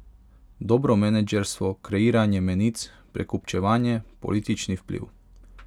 Dobro menedžerstvo, kreiranje menic, prekupčevanje, politični vpliv ...